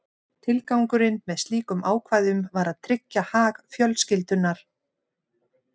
Tilgangurinn með slíkum ákvæðum var að tryggja hag fjölskyldunnar.